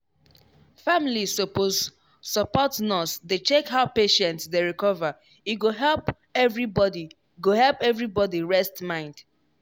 families suppose support nurse dey check how patient dey recover e go help everybody go help everybody rest mind.